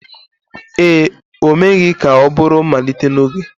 ee, o meghị ka ọ bụrụ mmalite n'oge.